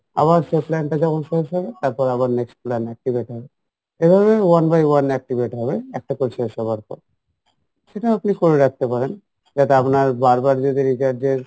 আবার সে plan টা যখন শেষ হবে তারপরে আবার next plan activate হবে এভাবেই one by one activate হবে একটা plan শেষ হওয়ার পর সেটা আপনি করে রাখতে পারেন যেটা আপনার বারবার যদি recharge এর